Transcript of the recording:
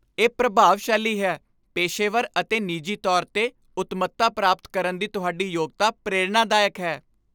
ਇਹ ਪ੍ਰਭਾਵਸ਼ਾਲੀ ਹੈ। ਪੇਸ਼ੇਵਰ ਅਤੇ ਨਿੱਜੀ ਤੌਰ 'ਤੇ ਉੱਤਮਤਾ ਪ੍ਰਾਪਤ ਕਰਨ ਦੀ ਤੁਹਾਡੀ ਯੋਗਤਾ ਪ੍ਰੇਰਣਾਦਾਇਕ ਹੈ।